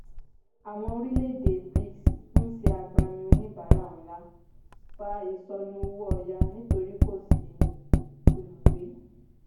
àwọn orílẹ̀ èdè bric ń ṣe agbamin onibara ńlá fà ìsonù owó ọ̀yà nítorí kò sí olùgbé.